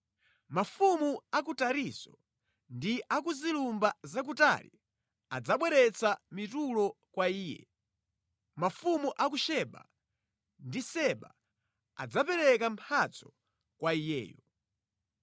Mafumu a ku Tarisisi ndi a ku zilumba zakutali adzabweretsa mitulo kwa iye, mafumu a ku Seba ndi Seba adzapereka mphatso kwa iyeyo.